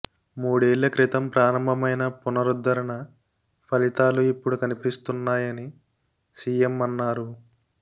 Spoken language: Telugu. మూడేళ్ల క్రితం ప్రారంభమైన పునరుద్ధరణ ఫలితాలు ఇపుడు కనిపిస్తున్నాయని సిఎం అన్నారు